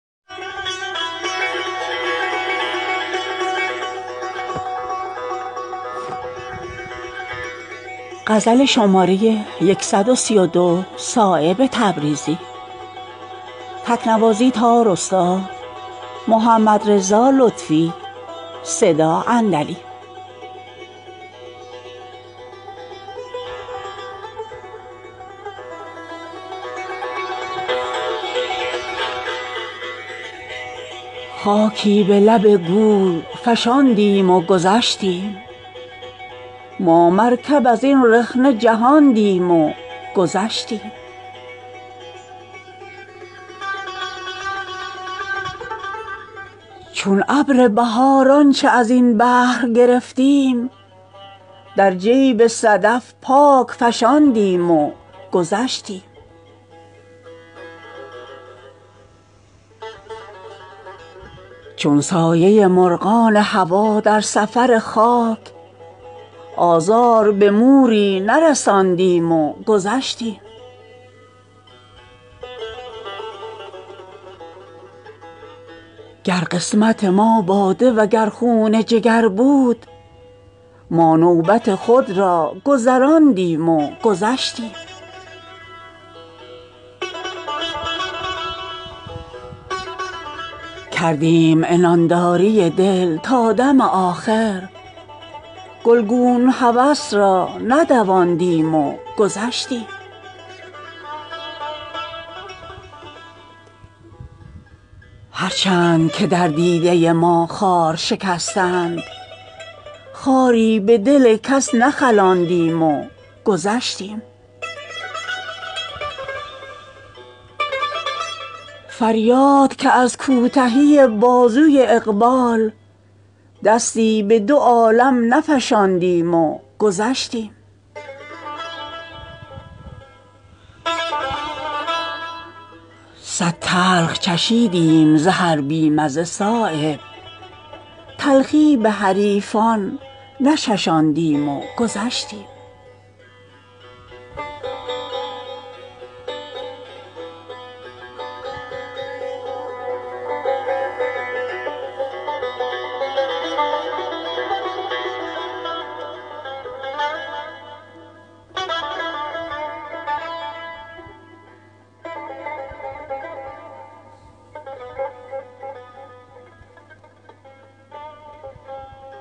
خاکی به لب گور فشاندیم و گذشتیم ما مرکب ازین رخنه جهاندیم و گذشتیم چون ابر بهار آنچه ازین بحر گرفتیم در جیب صدف پاک فشاندیم و گذشتیم چون سایه مرغان هوا در سفر خاک آزار به موری نرساندیم و گذشتیم گر قسمت ما باده و گر خون جگر بود ما نوبت خود را گذراندیم و گذشتیم کردیم عنانداری دل تا دم آخر گلگون هوس را ندواندیم و گذشتیم در رشته کشیدند دگرها گهر جان ما این عرق از جبهه فشاندیم و گذشتیم هر چند که در دیده ما خار شکستند خاری به دل کس نخلاندیم و گذشتیم یک صید ازین دشت به فتراک نبستیم چون مهر همین تیغ رساندیم و گذشتیم هر چند که در مد نظر بود دو عالم یک حرف ازین صفحه نخواندیم و گذشتیم فریاد که از کوتهی بازوی اقبال دستی به دو عالم نفشاندیم و گذشتیم صد تلخ چشیدیم ز هر بی مزه صایب تلخی به حریفان نچشاندیم و گذشتیم